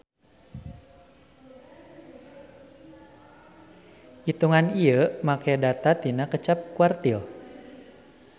Itungan ieu make data tina kaca quartile.